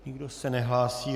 Nikdo se nehlásí.